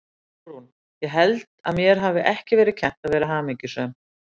SÓLRÚN: Ég held að mér hafi ekki verið kennt að vera hamingjusöm.